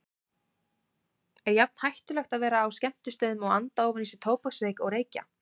Er jafn hættulegt að vera á skemmtistöðum og anda ofan í sig tóbaksreyk og reykja?